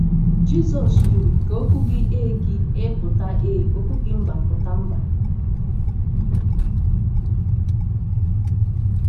Jisọs kwuru: “Ka okwu gị ‘Ee’ gị ‘Ee’ pụta ‘Ee’, okwu gị ‘Mba’ pụta ‘Mba.’”